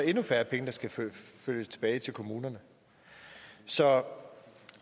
endnu færre penge der skal flyttes tilbage til kommunerne så